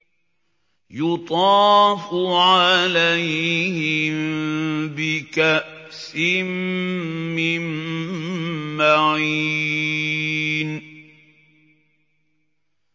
يُطَافُ عَلَيْهِم بِكَأْسٍ مِّن مَّعِينٍ